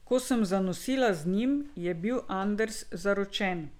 Ko sem zanosila z njim, je bil Anders zaročen.